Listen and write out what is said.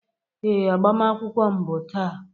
Ee, agbamakwụkwọ m bụ taa